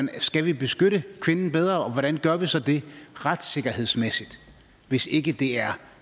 skal vi beskytte kvinden bedre og hvordan gør vi så det retssikkerhedsmæssigt hvis ikke det er